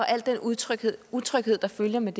al den utryghed utryghed der følger med